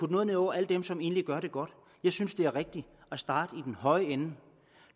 noget ned over alle dem som egentlig gør det godt jeg synes det er rigtigt at starte i den høje ende